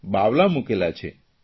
બાવલાં મૂક્યાં છે